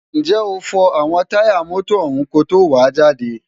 ǹjẹ́ o fọ àwọn táyà mọ́tọ̀ ọ̀hún ko tó wàá jáde?